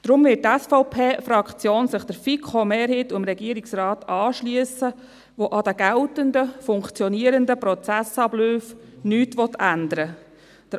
Deshalb wird die SVP-Fraktion sich der FiKo-Mehrheit und dem Regierungsrat anschliessen, die an den geltenden, funktionierenden Prozessabläufen nichts ändern wollen.